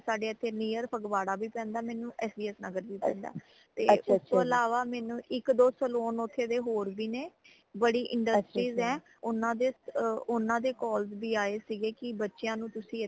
ਸਾੜੇ ਇਥੇ near ਫਗਵਾੜਾ ਵੀ ਪੈਂਦਾ ਮੈਨੂੰ ਐਸ ਬੀ ਐਸ ਨਗਰ ਵੀ ਪੈਂਦਾ ਹੈ ਤੇ ਉਸ ਤੋਂ ਅਲਾਵਾ ਮੈਨੂੰ ਇਕ ਦੋ saloon ਓਥੇ ਦੇ ਹੋਰ ਵੀ ਨੇ ਬੜੀ industries ਹੈ ਓਨਾ ਦੇ ਓਨਾ ਦੇ calls ਵੀ ਆਏ ਸੀਗੇ ਕਿ ਬੱਚਿਆਂ ਨੂ ਤੁਸੀਂ ਇਥੇ